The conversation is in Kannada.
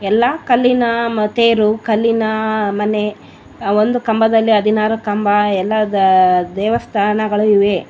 ಎಲ್ಲ ಕಲ್ಲಿನ ಮ ತೇರು ಕಲ್ಲಿನ ಮನೆ ಒಂದು ಕಂಬದಲ್ಲಿ ಹದಿನಾರು ಕಂಬ ಎಲ್ಲ ದೇವಸ್ಥಾನಗಳು ಇವೆ --